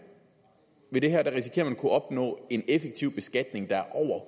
at opnå en effektiv beskatning der er